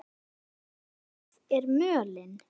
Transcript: Hversu gróf er mölin?